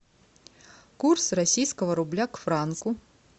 курс российского рубля к франку